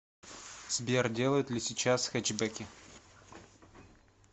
сбер делают ли сейчас хэтчбеки